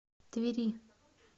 твери